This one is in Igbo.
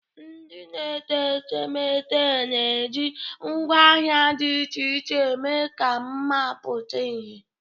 Ndị na-ete etemeete na-eji ngwaahịa dị iche iche eme ka mma pụta ìhè.